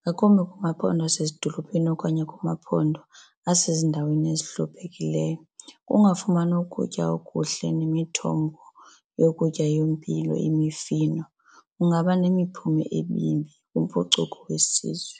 ngakumbi kumaphondo wasezidolophini okanye kumaphondo asezindaweni ezihluphekileyo. Ukungafumani ukutya okuhle nemithombo yokutya yempilo imifino kungaba nemiphumo emibi kwimpucuko yesizwe.